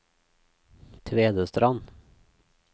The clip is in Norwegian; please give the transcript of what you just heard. Tvedestrand